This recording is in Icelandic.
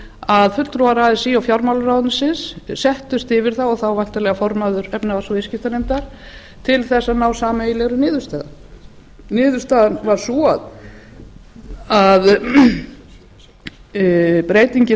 að fulltrúar así og fjármálaráðuneytisins settust yfir það og þá væntanlega formaður efnahags og viðskiptanefndar til að ná sameiginlegri niðurstöðu niðurstaðan varð sú að breytingin